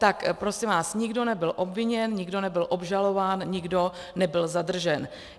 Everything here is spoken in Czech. Tak prosím vás, nikdo nebyl obviněn, nikdo nebyl obžalován, nikdo nebyl zadržen.